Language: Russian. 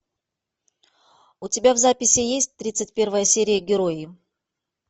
у тебя в записи есть тридцать первая серия герои